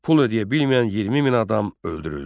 Pul ödəyə bilməyən 20 min adam öldürüldü.